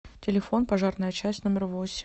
телефон пожарная часть номер восемь